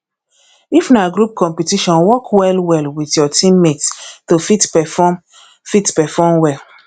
if na group competiton work well well with your team mates to fit perform fit perform well